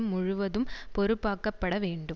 முழுவதும் பொறுப்பாக்கப்பட வேண்டும்